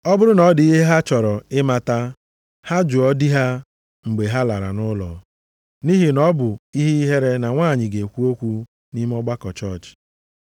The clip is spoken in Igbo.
Ọ bụrụ na ọ dị ihe ha chọrọ ịmata, ha jụọ di ha mgbe ha lara nʼụlọ. Nʼihi na ọ bụ ihe ihere na nwanyị ga-ekwu okwu nʼime ọgbakọ chọọchị.